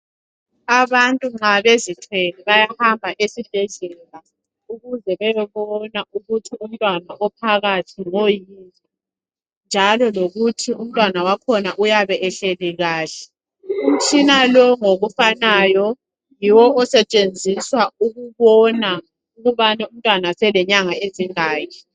Abantu nxabezithwele bayahamba esibhedlela ukuze beyebona ukuba umuntwana ophakathi ngoyini njalo lokuthi umntwana wakhona uyabe ehleli kahle umtshina lowo ngokufanayo nguwo osetshenziswa ukubona ukuthi umntwana uselenyanga ezingaki